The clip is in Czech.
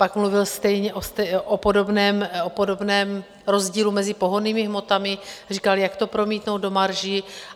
Pak mluvil stejně o podobném rozdílu mezi pohonnými hmotami, říkal, jak to promítnou do marží.